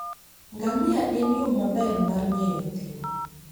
Ngamia en yo maber mar ng'eyo thim